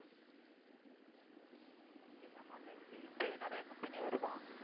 இந்த ஜமால்ல எப்படி interview நிறைய company வருமா